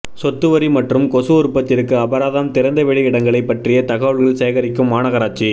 சொத்துவரி மற்றும் கொசு உற்பத்திற்கு அபராதம் திறந்தவெளி இடங்களை பற்றிய தகவல் சேகரிக்கும் மாநகராட்சி